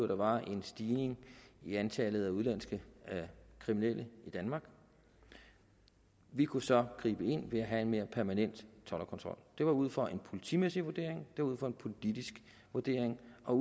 der var en stigning i antallet af udenlandske kriminelle i danmark vi kunne så gribe ind ved at have en mere permanent toldkontrol det var ud fra en politimæssig vurdering det var ud fra en politisk vurdering og